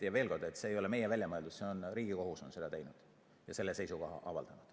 Veel kord: see ei ole meie väljamõeldis, Riigikohus on seda teinud ja selle seisukoha avaldanud.